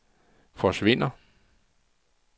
forsvinder